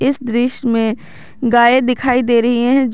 इस दृश्य में गाय दिखाई दे रही है जो--